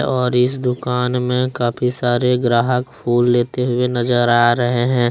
और इस दुकान में काफी सारे ग्राहक फूल लेते हुए नजर आ रहे हैं।